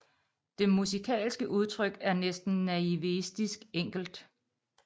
Det musikalske udtryk er næsten naivistisk enkelt